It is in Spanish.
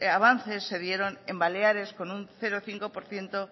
avances se dieron en baleares con un cero coma cinco por ciento